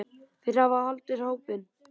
Þeir hafa haldið hópinn.